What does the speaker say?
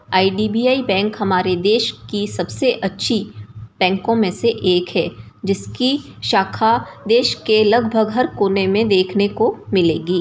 IDBI. Bank हमारे देश की सबसे अच्छी बैंको में से एक है जिसकी शाखा देश के लगभग हर कोने में देखने को मिलेगी।